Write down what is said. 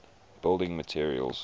building materials